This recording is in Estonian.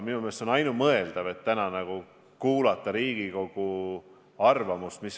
Minu meelest on ainumõeldav kuulata täna ära Riigikogu arvamus.